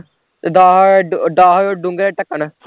ਤੇ ਦਸ ਦਸ ਡੋਂਗਿਆ ਦੇ ਢੱਕਣ